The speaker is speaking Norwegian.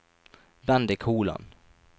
Bendik Holand